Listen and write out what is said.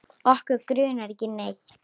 Okkur grunar ekki neitt.